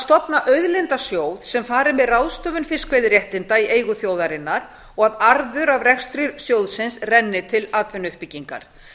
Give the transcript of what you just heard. stofna auðlindasjóð sem fari með ráðstöfun fiskveiðiréttinda í eigu þjóðarinnar og að arður af rekstri sjóðsins renni til atvinnuuppbyggingar